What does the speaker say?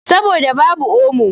Saboda babu omo.